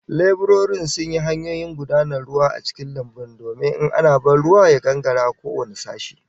Leburorin sun yi hanyoyin gudanar ruwa a cikin lambun domin in ana ban ruwa ya gangara ko wane sashe